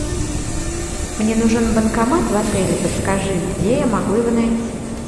мне нужен банкомат в отеле подскажи где я могу его найти